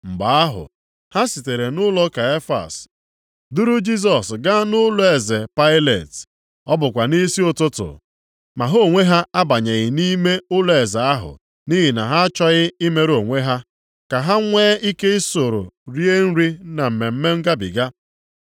Mgbe ahụ, ha sitere nʼụlọ Kaịfas duru Jisọs gaa nʼụlọeze Pailet. Ọ bụkwa nʼisi ụtụtụ, ma ha onwe ha abanyeghị nʼime ụlọeze ahụ nʼihi na ha achọghị imerụ onwe ha, ka ha nwee ike isoro rie nri na Mmemme Ngabiga.